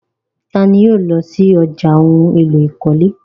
Tani yóò lọ sí ọ̀já ohun èlò ìkọ́lé?